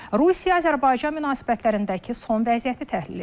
Rusiya-Azərbaycan münasibətlərindəki son vəziyyəti təhlil edirik.